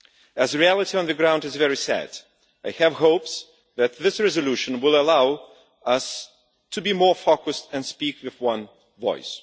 As the reality on the ground is very sad, I have hopes that this resolution will allow us to be more focused and speak with one voice.